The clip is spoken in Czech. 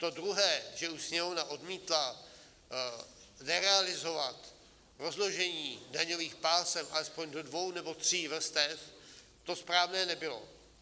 To druhé, že už Sněmovna odmítla nerealizovat rozložení daňových pásem alespoň do dvou nebo tří vrstev, to správné nebylo.